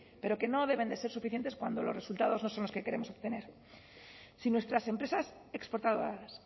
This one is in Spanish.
pero que no deben de ser suficientes cuando los resultados no son los que queremos obtener si nuestras empresas exportadoras